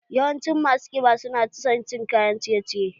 Yawancin masu ƙiba su na son cin kayan ciye ciye